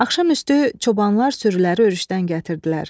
Axşamüstü çobanlar sürüləri örüşdən gətirdilər.